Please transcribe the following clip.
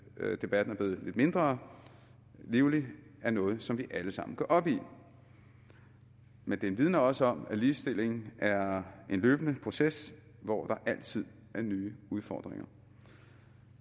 at debatten er blevet lidt mindre livlig er noget som vi alle sammen går op i men den vidner også om at ligestilling er en løbende proces hvor der altid er nye udfordringer